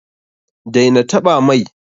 Daina taɓa mai!